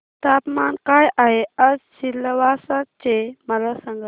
तापमान काय आहे आज सिलवासा चे मला सांगा